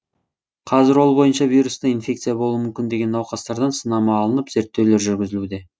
қазір ол бойынша вирусты инфекция болуы мүмкін деген науқастардан сынама алынып зерттеулер жүргізілуде